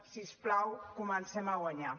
si us plau comencem a guanyar